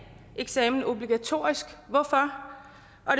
eksamen obligatorisk hvorfor